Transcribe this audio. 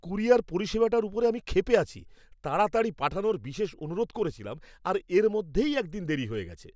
Courier পরিষেবাটার ওপরে আমি ক্ষেপে আছি। তাড়াতাড়ি পাঠানোর বিশেষ অনুরোধ করেছিলাম আর এর মধ্যেই এক দিন দেরি হয়ে গেছে!